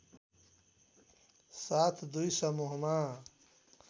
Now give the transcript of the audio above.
साथ दुई समूहमा